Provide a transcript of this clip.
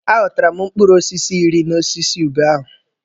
A ghọtara m mkpụrụ osisi iri n'osisi ube ahụ.